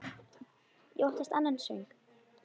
Ég óttast annan söng.